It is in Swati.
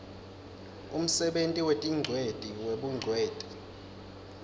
umsebenti wetingcweti webungcweti